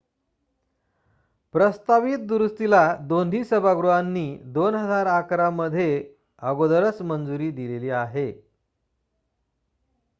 प्रस्तावित दुरुस्तीला दोन्ही सभागृहांनी 2011 मध्ये अगोदरच मंजुरी दिलेली आहे